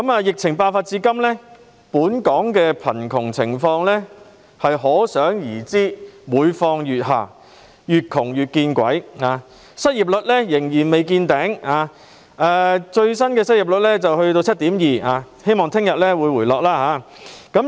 疫情爆發至今，本港的貧窮情況每況愈下，"越窮越見鬼"，失業率仍未見頂，最新的失業率達 7.2%， 希望其後會回落。